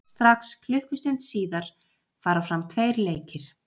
Strax klukkustund síðar fara fram tveir leikir.